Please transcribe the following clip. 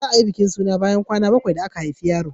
za a yi bikin suna kwana bakwai da aka haifi yaro